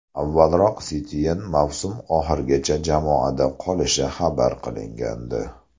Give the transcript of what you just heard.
Avvalroq Setyen mavsum oxirigacha jamoada qolishi xabar qilingandi .